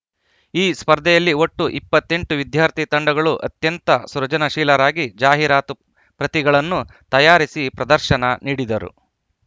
ಈ ಸ್ಪರ್ಧೆಯಲ್ಲಿ ಒಟ್ಟು ಇಪ್ಪತ್ತ್ ಎಂಟು ವಿದ್ಯಾರ್ಥಿ ತಂಡಗಳು ಅತ್ಯಂತ ಸೃಜನಶೀಲರಾಗಿ ಜಾಹೀರಾತು ಪ್ರತಿಗಳನ್ನು ತಯಾರಿಸಿ ಪ್ರದರ್ಶನ ನೀಡಿದರು